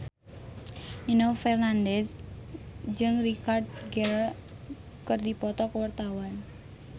Nino Fernandez jeung Richard Gere keur dipoto ku wartawan